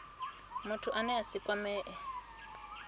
muthu ane a si kwamee